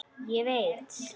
Ég veit.